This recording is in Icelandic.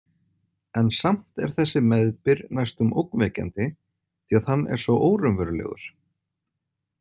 En samt er þessi meðbyr næstum ógnvekjandi því að hann er svo óraunverulegur.